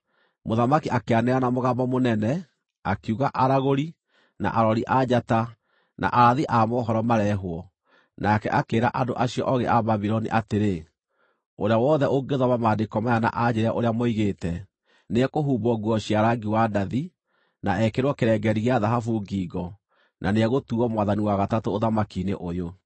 Mũthamaki akĩanĩrĩra na mũgambo mũnene, akiuga aragũri, na arori a njata, na arathi a mohoro mareehwo nake akĩĩra andũ acio oogĩ a Babuloni atĩrĩ, “Ũrĩa wothe ũngĩthoma maandĩko maya na anjĩĩre ũrĩa moigĩte, nĩekũhumbwo nguo cia rangi wa ndathi, na ekĩrwo kĩrengeeri gĩa thahabu ngingo, na nĩegũtuuo mwathani wa gatatũ ũthamaki-inĩ ũyũ.”